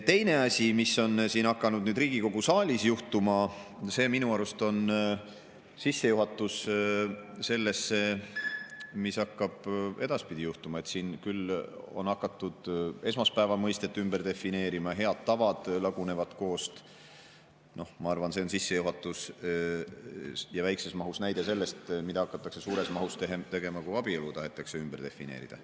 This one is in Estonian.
Teine asi, mis on hakanud nüüd siin Riigikogu saalis juhtuma ja mis minu arust on sissejuhatus sellesse, mis hakkab edaspidi juhtuma: on hakatud esmaspäeva mõistet ümber defineerima, head tavad lagunevad koost. Ma arvan, et see on sissejuhatus ja väikeses mahus näide sellest, mida hakatakse suures mahus tegema, kui abielu tahetakse ümber defineerida.